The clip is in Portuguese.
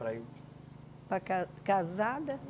Para ir para ca casada?